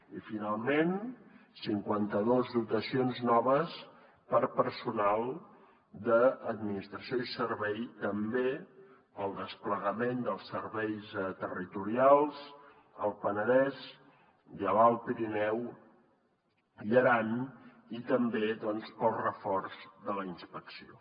i finalment cinquanta dos dotacions noves per a personal d’administració i serveis també per al desplegament dels serveis territorials al penedès i a l’alt pirineu i aran i també doncs per al reforç de la inspecció